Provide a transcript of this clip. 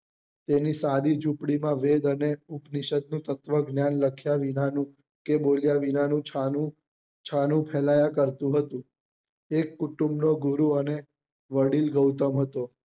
તેની સાદી ઝુંપડી વેદ અને ઉપ્વીશદ ની તત્વજ્ઞાન લખ્યા વિના નું કે બોલ્યા વિના નું છાનું છાનું ફેલાયા કરતુ હતું એક કુટુંબ નો ઘોડો અને વડીલ ગૌતમ હતો